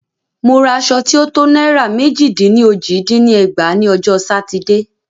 Mo ra aṣọ tí o to náírà mẹ́jì dín ní ójì dín ní ẹgbàá ní ọjọ́ Sátidé.